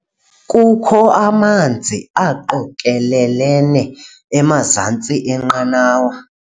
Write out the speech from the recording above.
Kukho amanzi aqokelelene emazantsi enqanawa.